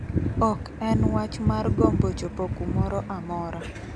"Ok en wach mar gombo chopo kumoro amora.